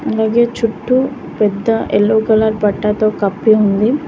అలాగే చుట్టూ పెద్ద ఎల్లో కలర్ పట్టాతో కప్పి ఉంది.